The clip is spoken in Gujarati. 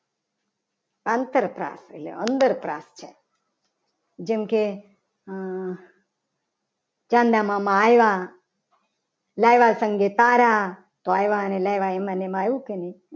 આંતરપ્રાસ એટલે અંદરપ્રાસ જેમકે ચાંદા મામા આવ્યા. લાવ્યા સંઘ સારા તો આવ્યા. અને લાવ્યા. એમાં ને એમાં આવ્યું કે નહીં.